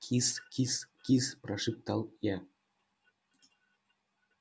кис-кис-кис прошептал я